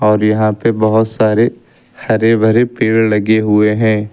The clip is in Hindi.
और यहां पे बहोत सारे हरे भरे पेड़ लगे हुए हैं।